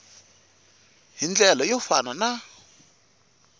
hi ndlela yo fana na